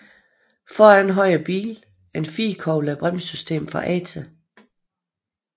Foran havde bilen firekolbet bremsesystem fra Ate